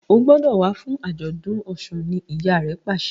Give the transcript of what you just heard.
O gbódò wá fún ajọdun òsùn! ní ìyá rẹ pàṣẹ